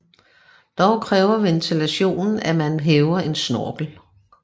Dog kræver ventilationen at man hæver en snorkel